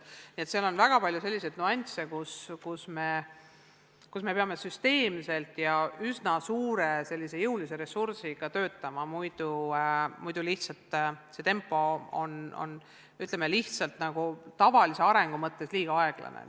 Nii et on väga palju selliseid nüansse, kus me peame süsteemselt ja üsna jõulise ressursiga töötama, muidu see tempo jääb, ütleme, tavalise arengu mõttes liiga aeglaseks.